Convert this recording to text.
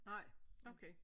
Nej okay